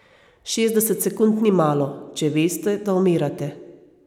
Šestdeset sekund ni malo, če veste, da umirate.